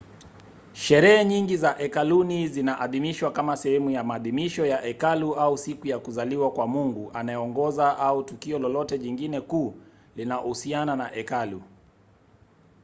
sherehe nyingi za hekaluni zinaadhimishwa kama sehemu ya maadhimisho ya hekalu au siku ya kuzaliwa kwa mungu anayeongoza au tukio lolote jingine kuu linalohusiana na hekalu